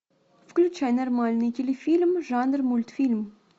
включай нормальный телефильм жанр мультфильм